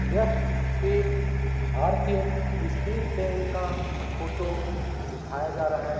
यह एक भारतीय स्टेट बैंक का फोटो दिखाया जा रहा है।